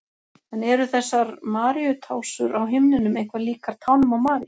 En eru þessar Maríutásur á himninum eitthvað líkar tánum á Maríu?